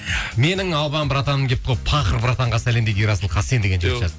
менің албан братаным келіпті ғой пахыр братанға сәлем дейді ерасыл хасен деген жігіт